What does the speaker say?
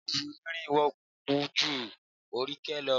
Kọ́ọ̀bù onírin wúwo ju oníke lọ